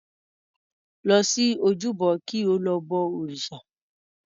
Lọ sí ojúbọ kí o lọ bọ òrìṣà.